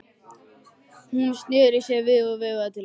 Hún sneri sér við og veifaði til hans.